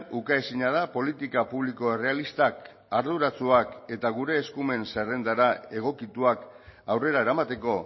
ukaezina da politika publiko errealistak arduratsuak eta gure eskumen zerrendara egokituak aurrera eramateko